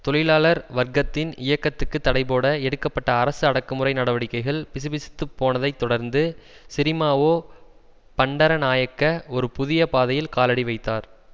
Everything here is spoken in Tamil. தொழிலாளர் வர்க்கத்தின் இயக்கத்துக்கு தடைபோட எடுக்க பட்ட அரசு அடக்குமுறை நடவடிக்கைகள் பிசுபிசுத்துப் போனதைத் தொடர்ந்து சிறிமாவோ பண்டரநாயக்க ஒரு புதிய பாதையில் காலடி வைத்தார்